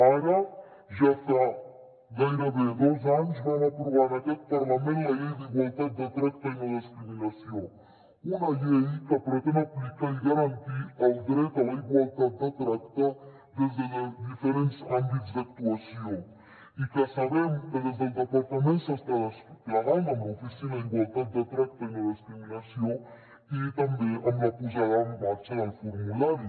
ara ja fa gairebé dos anys que vam aprovar en aquest parlament la llei d’igualtat de tracte i no discriminació una llei que pretén aplicar i garantir el dret a la igualtat de tracte des de diferents àmbits d’actuació i que sabem que des del departament s’està desplegant amb l’oficina d’igualtat de tracte i no discriminació i també amb la posada en marxa del formulari